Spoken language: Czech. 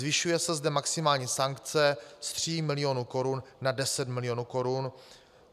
Zvyšuje se zde maximální sankce z tří milionů korun na 10 milionů korun.